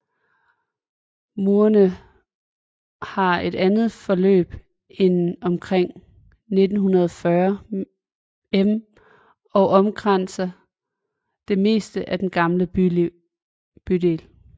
Murene har et forløb på omkring 1940 m og omkranser det meste af den gamle bydel